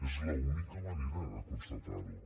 és l’única manera de constatar ho